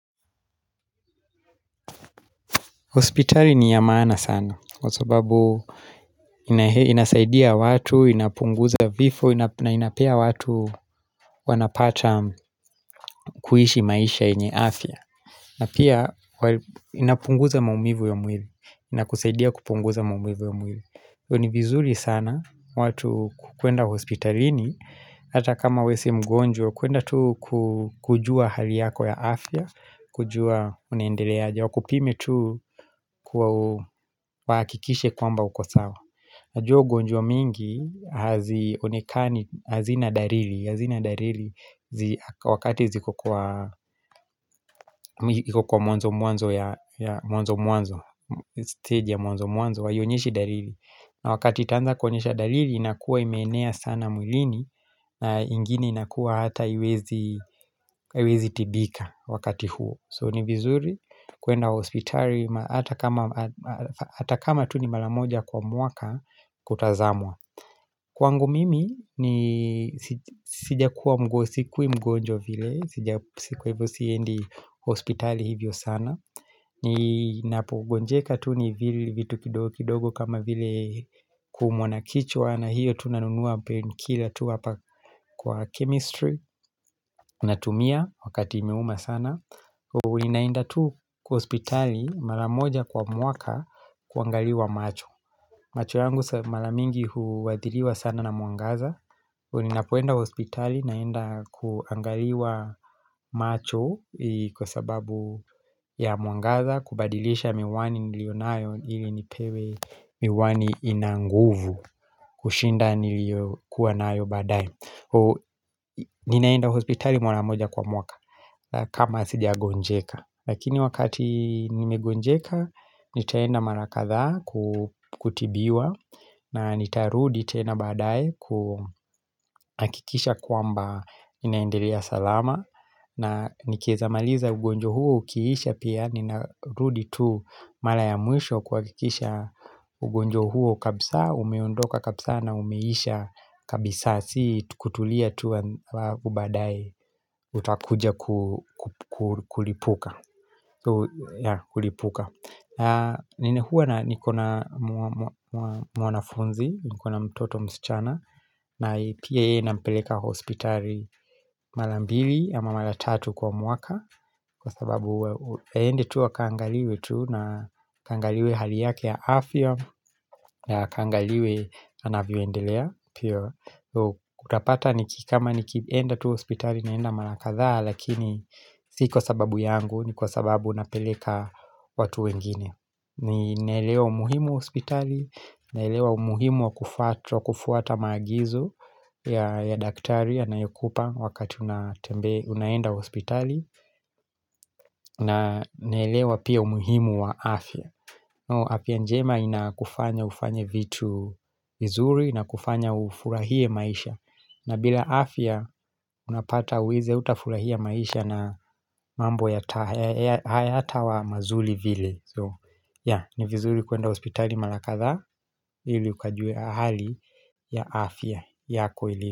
Hospitali ni ya maana sana, kwa sababu inasaidia watu, inapunguza vifo, na inapea watu wanapata kuishi maisha yenye afya. Na pia inapunguza maumivu ya mwili, inakusaidia kupunguza maumivu ya mwili. Ni vizuri sana watu kwenda hospitalini, ata kama we si mgonjwa, kuenda tu kujua hali yako ya afya, kujua unendeleaja. Wakupime tu kwa wakikishe kwamba uko sawa. Najua ugonjwa mingi hazionekani hazina dalili. Hazina dalili wakati ziko kwa mwanzo ya mwanzo mwanzo, staji ya mwanzo mwanzo, haionyeshi dalili. Na wakati itanza konyesha dalili inakuwa imenea sana mwilini na ingini inakuwa hata hiwezi tibika wakati huo. So ni vizuri kuenda hospitali hata kama tu ni mara moja kwa mwaka kutazamwa Kwangu mimi ni sijakuwa mgo sikui mgonjwa vile kwa hivyo siendi hospitali hivyo sana Ninapo gonjeka tu ni vile vitu kidogo kama vile kumwanakichwa na hiyo tunanunua penkila tu hapa kwa chemistry Natumia wakati imeuma sana Ninainda tu kuhospitali mara moja kwa mwaka kuangaliwa macho macho yangu mara mingi huwadhiliwa sana na mwangaza Ninapoenda hospitali naenda kuangaliwa macho kwa sababu ya mwangaza kubadilisha miwani niliyonayo ili nipewe miwani inanguvu kushinda niliyokuwa nayo badae Ninaenda hospitali mara moja kwa mwaka kama sijagonjeka Lakini wakati nimegonjeka nitaenda mara kadhaa kutibiwa na nitarudi tena badae kuhakikisha kwamba inaendelea salama na nikiezamaliza ugonjwa huo ukiisha pia ninarudi tu mara ya mwisho kuhakikisha ugonjwa huo kabisa umeondoka kabisa na umeisha kabisa si kutulia tu wa ubadae utakuja kulipuka Kulipuka Ninehuwa na nikona mwanafunzi nikona mtoto msichana na pia yeye nampeleka hospitali Mara mbili ama mara tatu kwa mwaka Kwa sababu aende tu akangaliwe tu na kangaliwe hali yake ya afya na kangaliwe anavyoendelea utapata ni kikama ni kienda tuwa hospitali naenda mara kadhaa Lakini si kwa sababu yangu ni kwa sababu napeleka watu wengine. Ni naelewa umuhimu hospitali, naelewa umuhimu wa kufuata maagizo ya daktari anayokupa wakati unaenda hospitali, na nelewa pia umuhimu wa afya. Afya njema inakufanya ufanye vitu vizuri na kufanya ufurahie maisha. Na bila afya unapata huwezi utafurahia maisha na mambo hayatawa mazuri vile So ya ni vizuri kuenda hospitali mara kadhaa ili ukajue hali ya afya yako ili.